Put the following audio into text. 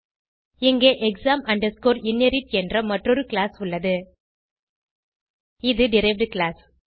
இங்கே exam inherit என்ற மற்றொரு கிளாஸ் உள்ளது இது டெரைவ்ட் கிளாஸ்